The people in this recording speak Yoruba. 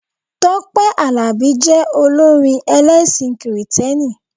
Tọ́pẹ́ Àlàbí jẹ olórin ẹlẹ́sìn kìrìtẹ́nì.